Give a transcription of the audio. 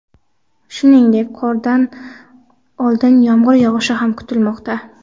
Shuningdek, qordan oldin yomg‘ir yog‘ishi ham kutilmoqda.